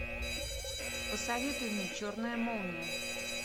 посоветуй мне черная молния